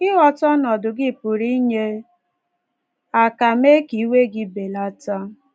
Ịghọta ọnọdụ gị pụrụ inye aka mee ka iwe gị belata.